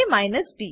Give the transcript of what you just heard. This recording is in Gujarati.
a B